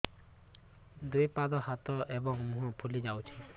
ଦୁଇ ପାଦ ହାତ ଏବଂ ମୁହଁ ଫୁଲି ଯାଉଛି